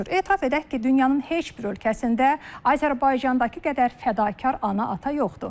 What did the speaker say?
Etiraf edək ki, dünyanın heç bir ölkəsində Azərbaycandakı qədər fədakar ana-ata yoxdur.